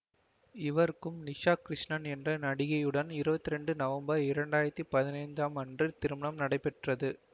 இவருக்கும் நிஷா கிருஷ்ணன் என்ற நடிகையுடன் இருவத்தி இரண்டு நவம்பர் இரண்டாயிரத்தி பதினைந்தாம் அன்று திருமணம் நடைபெற்றது